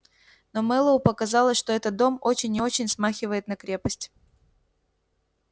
но мэллоу показалось что этот дом очень и очень смахивает на крепость